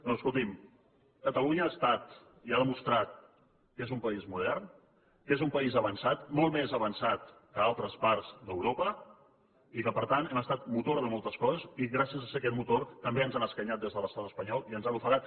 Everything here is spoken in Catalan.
no escolti’m catalunya ha estat i ha demostrat que és un país modern que és un país avançat molt més avançat que altres parts d’europa i que per tant hem estat motor de moltes coses i gràcies a ser aquest motor també ens han escanyat des de l’estat espanyol i ens han ofegat